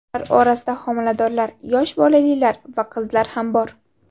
Ular orasida homiladorlar, yosh bolalilar va qizlar ham bor.